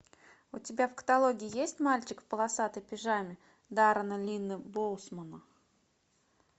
у тебя в каталоге есть мальчик в полосатой пижаме даррена линна боусмана